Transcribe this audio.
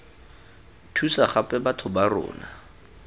thusa gape batho ba rona